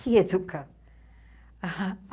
Se educar.